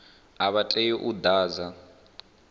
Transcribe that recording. a vha tei u ḓadza